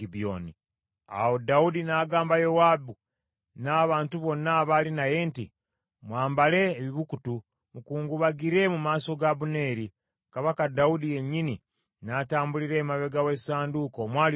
Awo Dawudi n’agamba Yowaabu n’abantu bonna abaali naye nti, “Mwambale ebibukutu, mukungubagire mu maaso ga Abuneeri.” Kabaka Dawudi yennyini n’atambulira emabega w’essanduuko omwali omulambo.